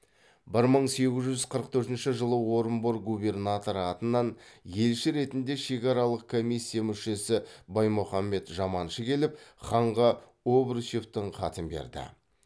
бір мың сегіз жүз қырық төртінші жылы орынбор губернаторы атынан елші ретінде шекаралық комиссия мүшесі баймұханбет жаманшы келіп ханға обручевтің хатын берді